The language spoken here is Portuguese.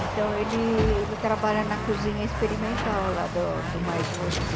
Então, ele ele trabalha na cozinha experimental lá do do Mais Você.